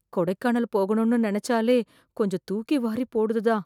கொடைக்கானல் போகணும்னு நினைச்சாலே கொஞ்சம் தூக்கி வாரி போடுது தான்.